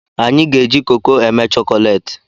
Anyị ga-eji koko eme chokolati